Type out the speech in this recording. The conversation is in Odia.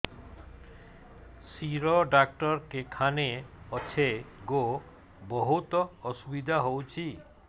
ଶିର ଡାକ୍ତର କେଖାନେ ଅଛେ ଗୋ ବହୁତ୍ ଅସୁବିଧା ହଉଚି